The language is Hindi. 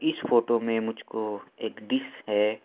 इस फोटो में मुझको एक डीश है।